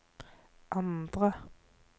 andre